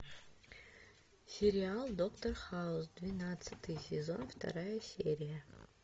сериал доктор хаус двенадцатый сезон вторая серия